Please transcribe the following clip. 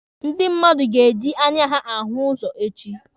Ndị mmadụ ga-eji anya ha ahụ ụzọ echi.